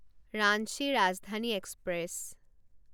Ranchi Rajdhani express